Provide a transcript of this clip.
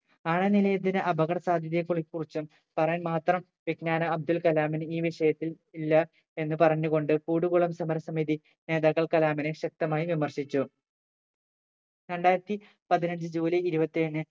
ആണവ നിലയത്തിന്റെ അപകട സാധ്യതയെ കു കുറിച്ചും പറയാൻ മാത്രം വിജ്ഞാനം അബ്ദുൾകലാമിന് ഈ വിഷയത്തിൽ ഇല്ല എന്ന് പറഞ്ഞു കൊണ്ട് കൂടുകുളം സമര സമിതി നേതാക്കൾ കലാമിനെ ശക്തമായി വിമർശിച്ചു രണ്ടായിരത്തി പതിനഞ്ചു ജൂലൈ ഇരുപത്തേഴിന്